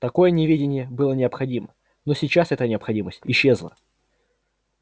такое неведение было необходимо но сейчас эта необходимость исчезла